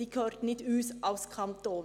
Sie gehört nicht uns, dem Kanton.